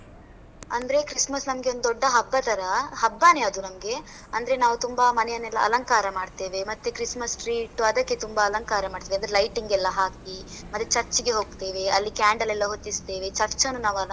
ಅಂದ್ರೆ christmas ನಮ್ಗೆ ಒಂದ್ ದೊಡ್ಡ ಹಬ್ಬದ್ ತರ, ಹಬ್ಬಾನೇ ಅದು ನಮ್ಗೆ. ಅಂದ್ರೆ ನಾವು ತುಂಬಾ ಮನೆಯನ್ನೆಲ್ಲ ಅಲಂಕಾರ ಮಾಡ್ತೇವೆ, ಮತ್ತೆ christmas tree ಇಟ್ಟು ಅದಕ್ಕೆ ತುಂಬಾ ಅಲಂಕಾರ ಮಾಡ್ತೇವೆ, ಅಂದ್ರೆ lighting ಎಲ್ಲ ಹಾಕಿ ಮತ್ತೆ church ಗೆ ಹೋಗ್ತೇವೆ, ಅಲ್ಲಿ candle ಎಲ್ಲ ಹೊತ್ತಿಸ್ತೇವೆ, church ಅನ್ನು ನಾವ್.